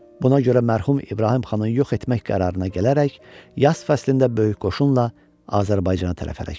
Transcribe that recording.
Buna görə mərhum İbrahim xanı yox etmək qərarına gələrək yaz fəslində böyük qoşunla Azərbaycana tərəf hərəkət etdi.